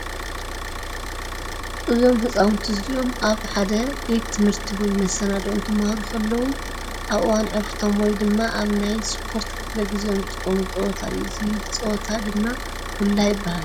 እዞም ህፃውንቲ እዚኦም ኣብ ሓደ ቤት ትምህርቲ ወይ መሰነድኦ እንትማሃሩ ከለዉ ኣብ እዋን ዕረፍቶም ወይ ድማ ኣብ ናይ እስፖርት ክፍለ ግዚኦም ዝጥቀምሉ ፀወታ እዩ። እዚ ፀወታ ድም ኩላ ይበሃል።